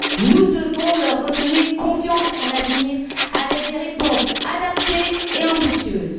Nous devons leur redonner confiance en l'avenir avec des réponses adaptées et ambitieuses.